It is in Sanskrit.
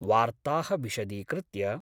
वार्ता: विशदीकृत्य